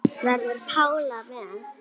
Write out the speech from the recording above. Verður Pála með?